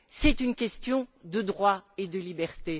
c'est une question de droit et de liberté.